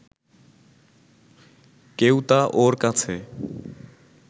কেউ তা ওর কাছে